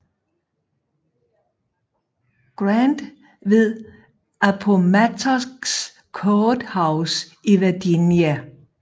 Grant ved Appomattox Courthouse i Virginia